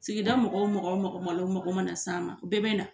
Sigida mɔgɔ o mɔgɔ, mɔgɔ o mɔgɔ o mago mana s'an ma, o bɛɛ bɛ na!